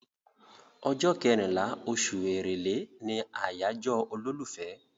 Ọjọ́ kẹrìnlá, oṣù Èrèlé ni àyájọ́ olólùfẹ́.